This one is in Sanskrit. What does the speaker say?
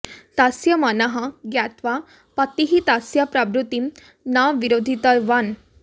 तस्य मनः ज्ञात्वा पतिः तस्यः प्रवृत्तिं न विरोधितवान्